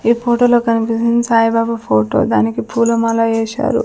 ఈ ఫోటోలో కనిపిస్తుంది సాయిబాబా ఫోటో దానికి పూలమాల వేశారు.